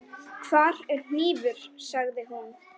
Hvar er hnífur, sagði hún.